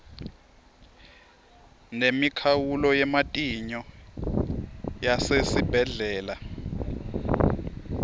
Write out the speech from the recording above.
nemikhawulo yematinyo yasesibhedlela